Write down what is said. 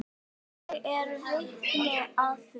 Ég er vitni að því.